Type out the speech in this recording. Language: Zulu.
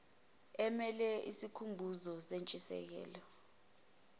amele isikhumbuzo sentshisekelo